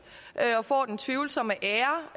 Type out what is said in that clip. og får den tvivlsomme ære